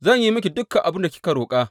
Zan yi miki dukan abin da kika roƙa.